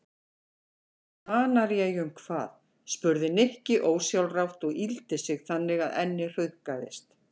Kanaríeyjum hvað? spurði Nikki ósjálfrátt og yggldi sig þannig að ennið hrukkaðist.